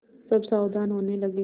सब सावधान होने लगे